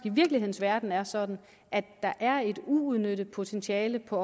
virkelighedens verden er sådan at der er et uudnyttet potentiale på